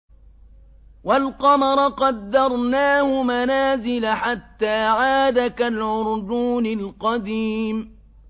وَالْقَمَرَ قَدَّرْنَاهُ مَنَازِلَ حَتَّىٰ عَادَ كَالْعُرْجُونِ الْقَدِيمِ